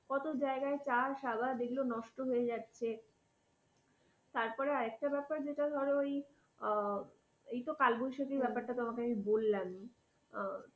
কত জায়গায় চাষ আবাদ এগুলো নষ্ট হয়ে যাচ্ছে। তারপরে আরেকটা ব্যাপার যেটা ধরো ওই, আর ওই তো কালবৈশাখীর ব্যাপারটা তোমাকে আমি বললাম।